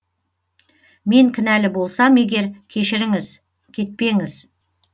мен кінәлі болсам егер кешіріңіз кетпеңіз